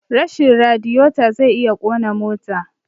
Rashin radiyeto zai iya kona mota